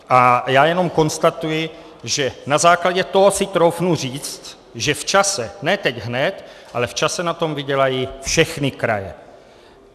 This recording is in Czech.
A já jenom konstatuji, že na základě toho si troufnu říct, že v čase, ne teď hned, ale v čase, na tom vydělají všechny kraje.